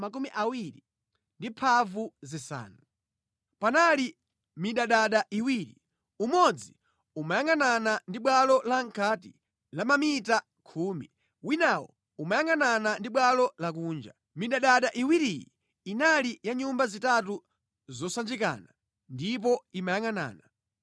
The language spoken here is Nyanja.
Panali midadada iwiri, umodzi umayangʼanana ndi bwalo lamʼkati la mamita khumi, winawo umayangʼanana ndi bwalo lakunja. Midadada iwiriyi inali ya nyumba zitatu zosanjikana ndipo imayangʼanana.